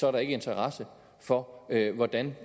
er interesse for hvordan